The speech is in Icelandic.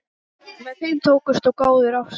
Með þeim tókust góðar ástir.